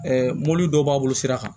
mobili dɔw b'a bolo sira kan